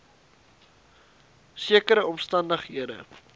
sekere omstan dighede